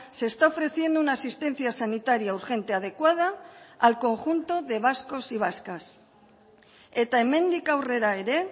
se está ofreciendo una asistencia sanitaria urgente adecuada al conjunto de vascos y vascas eta hemendik aurrera ere